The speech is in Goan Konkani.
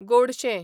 गोडशें